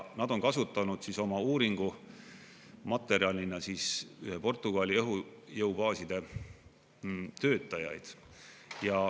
Nad on kasutanud oma uuringumaterjalina Portugali õhujõubaaside töötajaid.